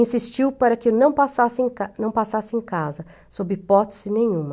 Insistiu para que não passasse em ca não passasse em casa, sob hipótese nenhuma.